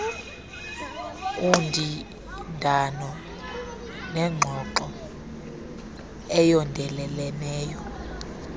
undindano nengxoxo eyondeleleneyo